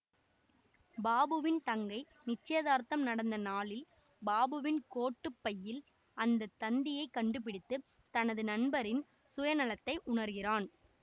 பாபுவின் தங்கை நிச்சயதார்த்தம் நடந்த நாளில் பாபுவின் கோட்டு பையில் அந்த தந்தியைக் கண்டுபிடித்து தனது நண்பரின் சுயநலத்தை உணர்கிறான்